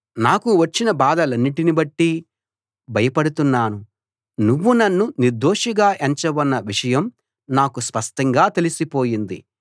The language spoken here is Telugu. నాకు వచ్చిన బాధలన్నిటిని బట్టి భయపడుతున్నాను నువ్వు నన్ను నిర్దోషిగా ఎంచవన్న విషయం నాకు స్పష్టంగా తెలిసిపోయింది